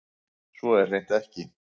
Svo er hreint ekki